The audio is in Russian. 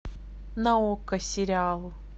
на окко сериал